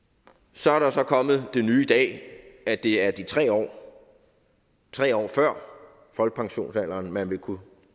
så er der så kommet det nye i dag at det er de tre år tre år før folkepensionsalderen at man vil kunne